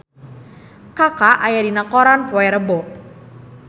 Kaka aya dina koran poe Rebo